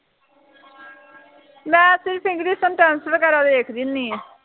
ਮੈਂ ਸਿਰਫ english sentence ਵਗੈਰਾ ਦੇਖਦੀ ਹੁੰਦੀ ਹਾਂ